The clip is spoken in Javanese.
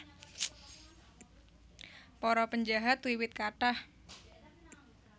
Para penjahat wiwit kathah